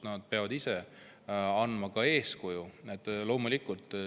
Nad peavad andma eeskuju.